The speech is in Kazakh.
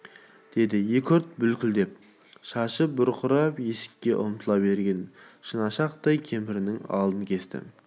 деді екі ұрты бүлкілдеп шашы бұрқырап есікке ұмтыла берген шынашақтай кемпірінің алдын кесті